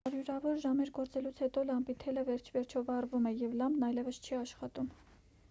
հարյուրավոր ժամեր գործելուց հետո լամպի թելը վերջիվերջո վառվում է և լամպն այևս չի աշխատում